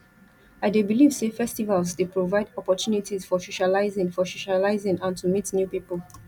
i dey believe say festivals dey provide opportunities for socializing for socializing and to meet new people